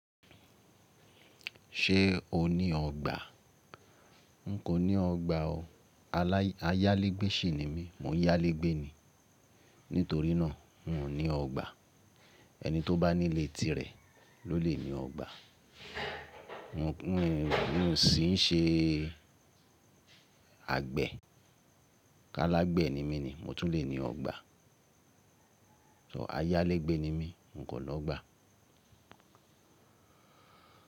Ṣé o ní ọgbà? N kò ní ọgbà o. Alái, ayálégbé ṣi ni mí, móyálégbé ni. Nítorínà n ò ní ọgbà. Ẹni tó bá nílé tirẹ̀ ló lè ní ọgbà. N kò, n kò sì n ṣe àgbẹ̀. Kálégbẹ̀ ni mí ni, mo tún lè ní ọgbà. So ayálégbé ni mí, n kò ní ọgbà.